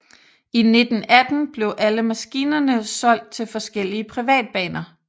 I 1918 blev alle maskinerne solgt til forskellige privatbaner